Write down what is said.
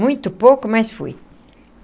Muito pouco, mas fui.